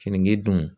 Finigiddon